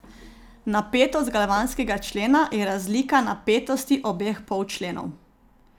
Napetost galvanskega člena je razlika napetosti obeh polčlenov.